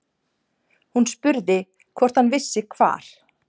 Hún spurði hvort hann vissi hvar